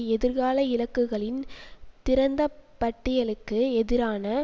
எதிர்கால இலக்குகளின் திறந்த பட்டியலுக்கு எதிரான